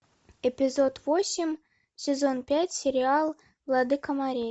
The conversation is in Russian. эпизод восемь сезон пять сериал владыка морей